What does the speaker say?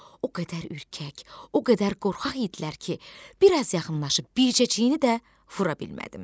O qədər ürkək, o qədər qorxaq idilər ki, bir az yaxınlaşıb bircə çeynini də vura bilmədim.